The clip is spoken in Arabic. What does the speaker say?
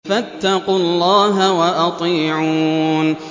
فَاتَّقُوا اللَّهَ وَأَطِيعُونِ